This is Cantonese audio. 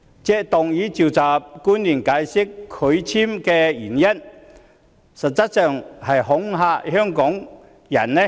她要求傳召官員解釋拒發簽證的原因，實際上有意恐嚇香港人。